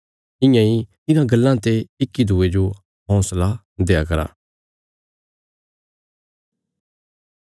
इयां इ इन्हां गल्लां ते इक्की दूये जो हौंसला देआ करा